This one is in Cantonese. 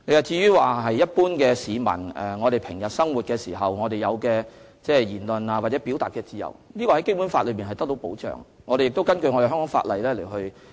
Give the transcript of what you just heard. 至於一般市民在日常生活當中享有的言論或表達自由，《基本法》中已訂明相關保障，我們亦會根據香港的法例行事。